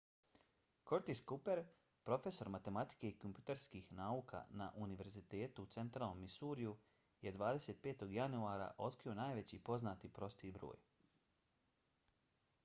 curtis cooper profesor matematike i kompjuterskih nauka na univerzitetu u centralnom missouriju je 25. januara otkrio najveći poznati prosti broj